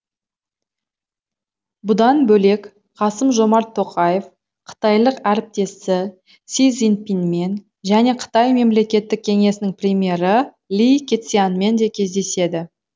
бұдан бөлек қасым жомарт тоқаев қытайлық әріптесі си цзиньпинмен және қытай мемлекеттік кеңесінің премьері ли кэцянмен де кездеседі